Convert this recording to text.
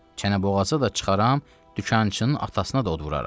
Çənə boğazı da çıxaram, dükançının atasına da od vuraram.